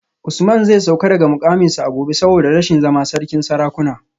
Usman zai sauka daga mukaminsa a gobe saboda rashin zama sarkin sarakuna